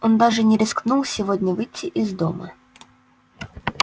он даже не рискнул сегодня выйти из дома